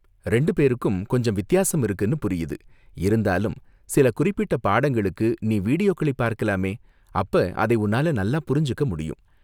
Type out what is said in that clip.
ரெண்டு பேருக்கும் கொஞ்சம் வித்தியாசம் இருக்குனு புரியுது, இருந்தாலும் சில குறிப்பிட்ட பாடங்களுக்கு நீ வீடியோக்களை பார்க்கலாமே, அப்ப அதை உன்னால நல்லா புரிஞ்சுக்க முடியும்.